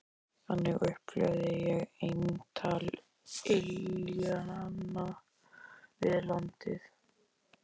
Þannig upplifði ég eintal iljanna við landið.